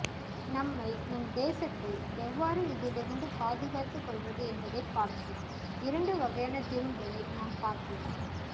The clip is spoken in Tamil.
நம்மை நம் தேசத்தை எவ்வாறு இதிலிருந்து பாதுகாத்துக் கொள்வது என்பதைப் பார்ப்போம் இரண்டு வகையான தீர்வுகளை நாம் பார்க்கலாம்